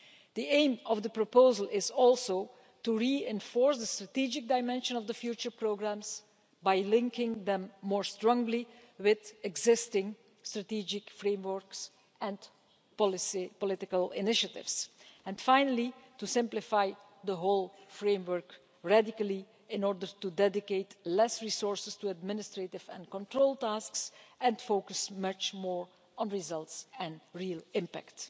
The aim of the proposal is also to reinforce the strategic dimension of the future programmes by linking them more strongly with existing strategic framework policy initiatives and finally, to radically simplify the whole framework in order to dedicate fewer resources to administrative and control tasks and focus much more on results and real impact.